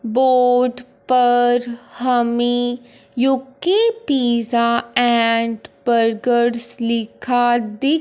board पर हमें U K pizza and burgers लिखा दि--